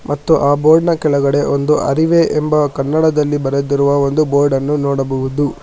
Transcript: ಮತ್ತು ಆ ಬೋರ್ಡ್ ಕೆಳಗಡೆ ಒಂದು ಅರಿವೇ ಎಂಬ ಕನ್ನಡದಲ್ಲಿ ಬರೆದಿರುವ ಒಂದು ಬೋರ್ಡ್ ಅನ್ನು ನೋಡಬಹುದು.